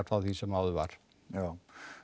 frá því sem áður var já